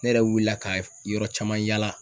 Ne yɛrɛ wiila ka yɔrɔ caman yala